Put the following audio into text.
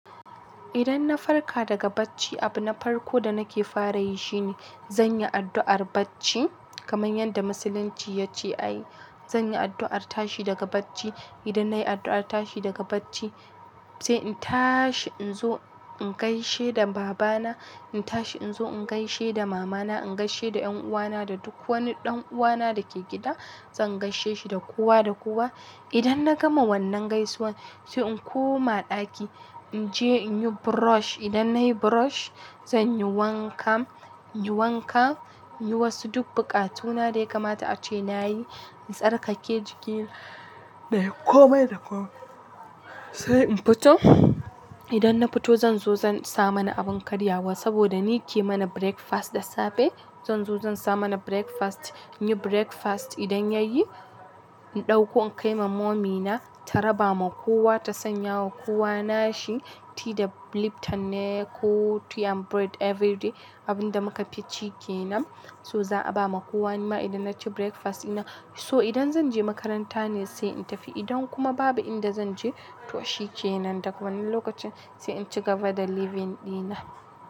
Idan na farka daga bacci, abu na farko da nake fara yi shine zan yi addu'ar bacci kamar yadda musulunci ya ce. Ai zan yi addu'ar tashi daga bacci. Idan nayi addu'ar tashi daga bacci, sai in tashi in zo in gaishe da baba na, in tashi in zo in gaishe da mama na, in gaishe da ƴan uwa na da duk wani ɗan uwa na da ke gida, zan gaishe shi da kowa da kowa. Idan na gama wannan gaisuwan, sai in koma ɗaki, in je in yi brush. Idan nayi brush, zan yi wanka, yi wanka, yi wasu duk buƙatu na dai kamata ace nayi, in tsarkake jiki na yi komai da komai. Sai in fito. Idan na fito zan zo zan sa mana abin karyawa saboda ni ke mana breakfast da safe. Zan zo zan sa mana breakfast. In yi breakfast, idan ya yi in ɗauko in kai ma mommy na ta raba ma kowa ta sanya wa kowa nashi, tea da lipton ne ko ti and bread everyday abin da muka fi ci ke nan. So za a ba ma kowa nima idan na ci breakfast dina. So idan zan je makaranta ne sai in tafi. Idan kuma babu inda zan je, to shi ke nan daga wani lokacin sai in ci gaba da living dina.